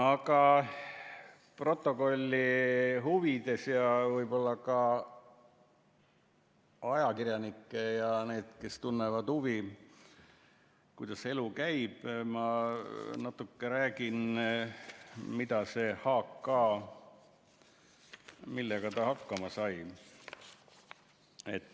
Aga protokolli huvides ja võib-olla ka ajakirjanike ja nende jaoks, kes tunnevad huvi, kuidas elu käib, ma natuke räägin, millega see H. K. hakkama sai.